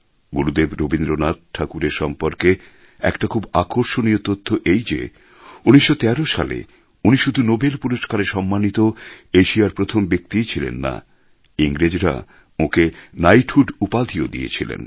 গুরুদেব রবীন্দ্রনাথ ঠাকুরের সম্পর্কে একটা খুব আকর্ষণীয় তথ্য এই যে ১৯১৩ সালে উনি শুধু নোবেল পুরস্কারে সম্মানিত এশিয়ার প্রথম ব্যক্তিই ছিলেন না ইংরেজরা ওঁকে নাইটহুড উপাধিও দিয়েছিল